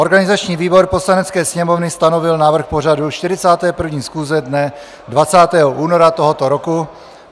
Organizační výbor Poslanecké sněmovny stanovil návrh pořadu 41. schůze dne 20. února tohoto roku.